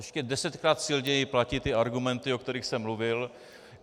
Ještě desetkrát silněji platí ty argumenty, o kterých jsem mluvil.